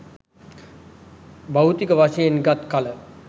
භෞතික වශයෙන් ගත් කල,